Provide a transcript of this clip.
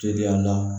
Teliya la